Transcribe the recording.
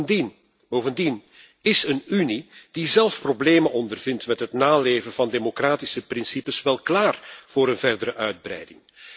Maar bovendien, is een Unie die zelf problemen ondervindt met het naleven van democratische principes, wel klaar voor een verdere uitbreiding?